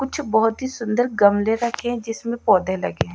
कुछ बहोत ही सुंदर गमले रखें जिसमें पौधे लगे हैं--